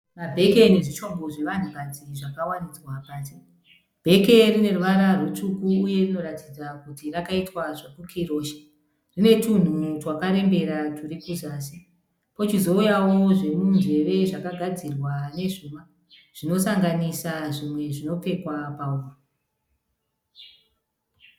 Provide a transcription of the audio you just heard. Mabheke nezvishongo zvevanhukadzi zvakawaridzwa pasi. Bheke rine ruvara rutsvuku uye rinoratidza kuri rakaitwa zvokukirosha. Rine twunhu twakarembera twuri kuzasi. Kochizouyawo zvemunzeve zvakagadzirwa nezvuma zvinosanganisa zvimwe zvinopfekwa muhuro.